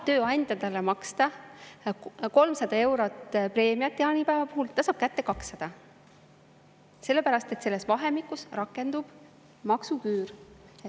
Tööandja tahab talle maksta 300 eurot preemiat jaanipäeva puhul, ta saab kätte 200, sellepärast et selles vahemikus rakendub maksuküür.